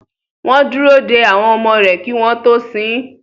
Wọn dúró de àwọn ọmọ rẹ kí wọn tó sín